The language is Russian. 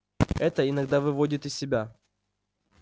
это иногда выводит из себя